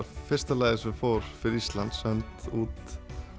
fyrsta lagið sem fór fyrir Ísland sent út